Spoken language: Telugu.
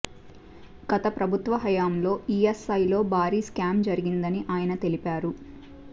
గత ప్రభుత్వ హయంలో ఈఎస్ఐలో భారీ స్కామ్ జరిగిందని ఆయన తెలిపారు